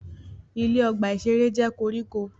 Ilẹ̀ ọgbà-ìṣeré jẹ́ koríko